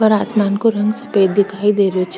ऊपर आसमान का रंग सफ़ेद दिखाई दे रहो छे।